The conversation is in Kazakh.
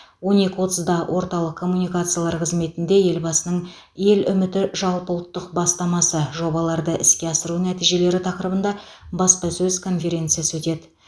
он екі отызда орталық коммуникациялар қызметінде елбасының ел үміті жалпыұлттық бастамасы жобаларды іске асыру нәтижелері тақырыбында баспасөз конференциясы өтеді